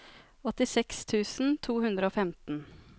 åttiseks tusen to hundre og femten